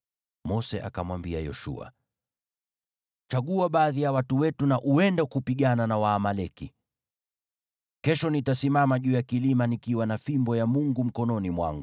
Mose akamwambia Yoshua, “Chagua baadhi ya watu wetu na uende kupigana na Waamaleki. Kesho nitasimama juu ya kilima nikiwa na fimbo ya Mungu mkononi mwangu.”